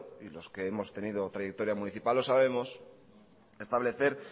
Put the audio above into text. y los que hemos tenido trayectoria municipal lo sabemos establecer